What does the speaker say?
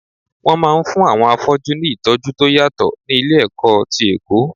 Wọn máa ń fún àwọn afọ́jú ní ìtọ́jú tó yàtọ̀ ní ilé-ẹ̀kọ́ ti Èkó.